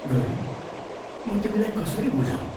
गौरी, म तिमीलाई कसरी बुझाऊँ?